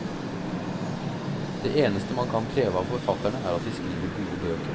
Det eneste man kan kreve av forfatterne, er at de skriver gode bøker.